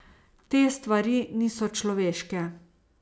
Te stvari niso človeške.